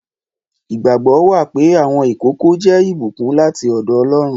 Ìgbàgbọ́ wà pé àwọn ìkókó jẹ́ ìbùkún láti ọ̀dọ̀ Ọlọ́run.